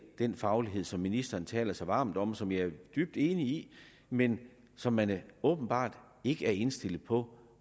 den faglighed som ministeren taler så varmt om og som jeg er dybt enig i men som man åbenbart ikke er indstillet på